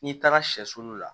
N'i taara sɛsulu la